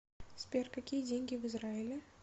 сбер какие деньги в израиле